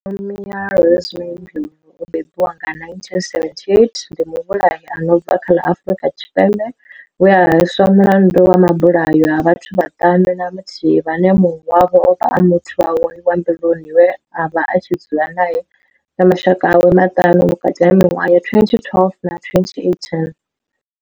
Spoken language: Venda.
Nomia Rosemary Ndlovu o bebiwaho nga, 1978, ndi muvhulahi a no bva kha ḽa Afrika Tshipembe we a hweswa mulandu wa mabulayo a vhathu vhaṱanu na muthihi vhane munwe wavho ovha a muthu wawe wa mbiluni we avha a tshi dzula nae na mashaka awe maṱanu, vhukati ha miṅwaha ya 2012 na 2018.